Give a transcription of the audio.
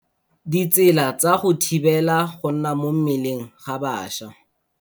Ditsela tsa go thibela go nna mo mmeleng ga bašwa.